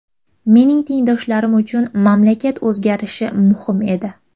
Mening tengdoshlarim uchun mamlakat o‘zgarishi muhim edi.